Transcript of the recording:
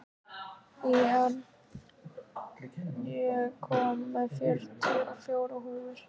Ír, ég kom með fjörutíu og fjórar húfur!